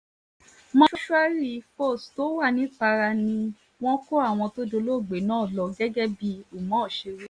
mòṣùárì fós tó wà nìpara ni wọ́n kó àwọn tó dolóògbé náà lọ gẹ́gẹ́ bí umar ṣe wí